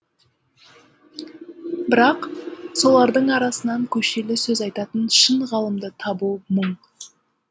бірақ солардың арасынан көшелі сөз айтатын шын ғалымды табу мұң